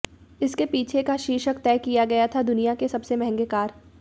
इसके पीछे का शीर्षक तय किया गया था दुनिया के सबसे महंगे कार